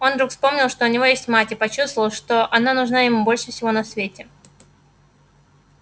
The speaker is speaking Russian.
он вдруг вспомнил что у него есть мать и почувствовал что она нужна ему больше всего на свете